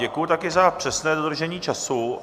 Děkuji také za přesné dodržení času.